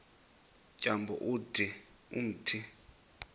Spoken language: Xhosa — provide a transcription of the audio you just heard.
tyambo ude umthi